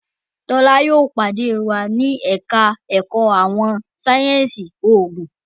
Tola yóò pàdé wá ní ẹka ẹkọ àwọn sáyẹnsì oògùn